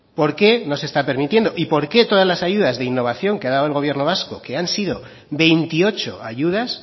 por qué no se está permitiendo y por qué todas las ayudas de innovación que ha dado el gobierno vasco que han sido veintiocho ayudas